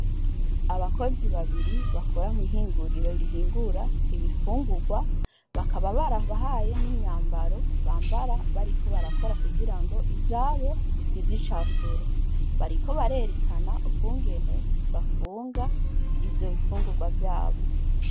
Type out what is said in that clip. Abakozi babiri bakora mw'ihinguriro rihingura ibifungurwa, bakaba barabahaye n'imyambaro bambara bariko barakora kugira ngo izabo ntizicafure. Bariko barerekana ukungene bafunga ivyo bifungurwa vyabo.